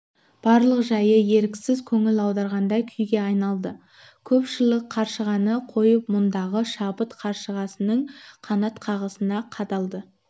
барлық жайы еріксіз көңіл аударғандай күйге айналды көпшілік қаршығаны қойып мұндағы шабыт қаршығасының қанат қағысына қадалды